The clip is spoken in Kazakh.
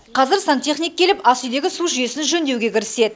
қазір сантехник келіп асүйдегі су жүйесін жөндеуге кіріседі